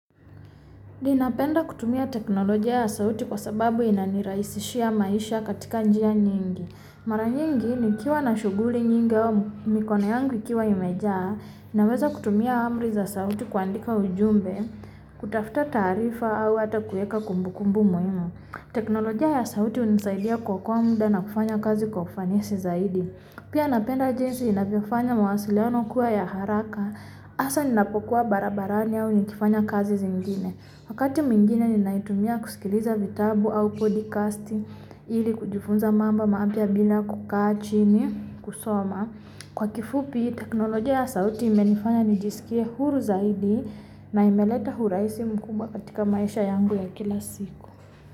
Ninapenda kutumia teknoloji ya sauti kwasababu ina niraishishia maishia katika njia nyingi mara nyingi nikiwa na shuguli nyingi mikona yangu ikiwa imeja naweza kutumia amri za sauti kuandika ujumbe kutafuta tarifa au hata kueka kumbukumbu muhimu teknoloji ya sauti unisaidia kuokoa muda na kufanya kazi kwa ufanisi sizaidi pia napenda jinsi inavyofanya mawasiliano kua ya haraka asa ninapokua barabarani au nitifanya kazi zingine wakati mingine ninaitumia kuskiliza vitabu au podcasti ili kujifunza mambo mapya bila kukaa chini kusoma kwakifupi teknoloji ya sauti imenifanya nijisikie huru zaidi na imeleta huraisi mkumbwa katika maisha yangu ya kila siku.